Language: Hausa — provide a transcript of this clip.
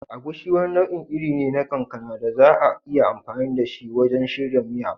Agushi wani nau'in iri ne na kankana da za a iya amfani da shi wajen shirya miya.